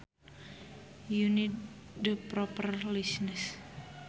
You need the proper license